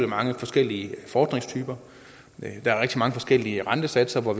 mange forskellige fordringstyper der er rigtig mange forskellige rentesatser og